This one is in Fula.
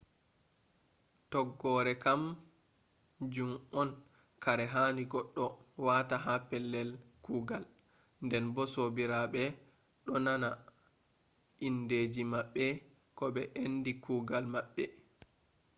tokgore kam jun on kare hani goɗɗo wata ha pellel kugal nden bo sobiraɓe do dona indeji maɓɓe ko ɓe ende kugal maɓɓe